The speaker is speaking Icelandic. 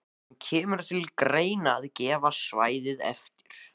En kemur til greina að gefa svæðið eftir?